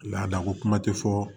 Laada ko kuma tɛ fɔ